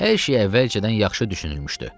Hər şey əvvəlcədən yaxşı düşünülmüşdü.